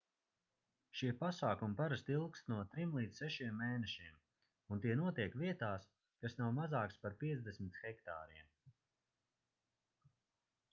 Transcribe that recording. šie pasākumi parasti ilgst no trim līdz sešiem mēnešiem un tie notiek vietās kas nav mazākas par 50 hektāriem